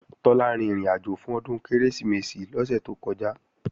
Tọ́lá rin ìrìnàjò fún Ọdún Kérésìmesì lọ́sẹ̀ tó kọjá